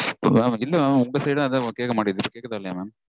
Mam இல்ல mam உங்க side -ம் அதா mam கேக்க மாட்டேங்குது. கேக்குதா இல்லையா mam?